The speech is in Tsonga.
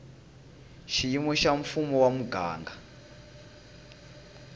xiyimo xa mfumo wa muganga